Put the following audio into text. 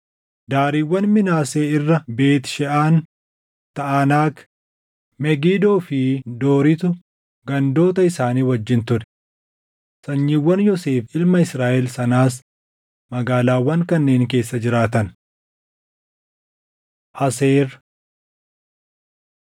Daariiwwan Minaasee irra Beet Sheʼaan, Taʼanaak, Megidoo fi Dooritu gandoota isaanii wajjin ture. Sanyiiwwan Yoosef ilma Israaʼel sanaas magaalaawwan kanneen keessa jiraatan. Aseer